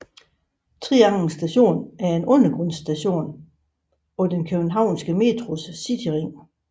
Trianglen Station er en undergrundsstation på den Københavns Metros Cityring